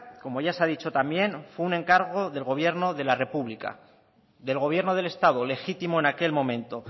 como ya se ha dicho también fue un encargo del gobierno de la república del gobierno del estado legítimo en aquel momento